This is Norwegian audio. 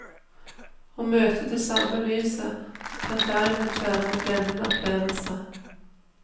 Å møte det samme lyset kan derimot være en blendende opplevelse.